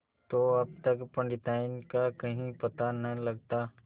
तो अब तक पंडिताइन का कहीं पता न लगता